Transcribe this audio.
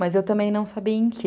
Mas eu também não sabia em que.